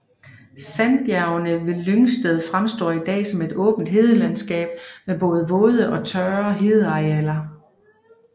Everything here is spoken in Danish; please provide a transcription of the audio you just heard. Sandbjergene ved Lyngsted fremstår i dag som et åben hedelandskab med både våde og tørre hedearealer